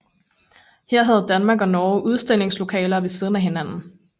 Her havde Danmark og Norge udstillingslokaler ved siden af hinanden